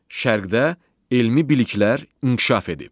Şərqdə elmi biliklər inkişaf edib.